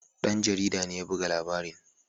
Ɗan jarida ne ya buga labarin.